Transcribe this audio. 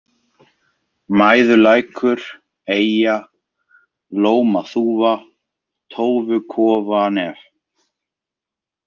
Mæðulækur, Eyja, Lómaþúfa, Tófukofanef